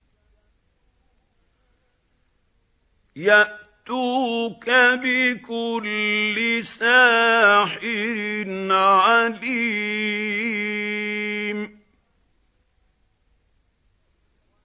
يَأْتُوكَ بِكُلِّ سَاحِرٍ عَلِيمٍ